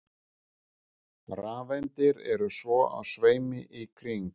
Rafeindir eru svo á sveimi í kring.